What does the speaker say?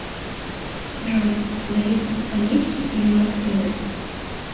джой давид любит оливки или маслины